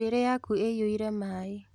Njuĩrĩ yaku ĩyũire maĩ